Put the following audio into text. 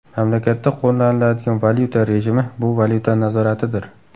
Mamlakatda qo‘llaniladigan valyuta rejimi bu valyuta nazoratidir.